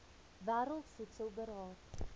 wêreld voedsel beraad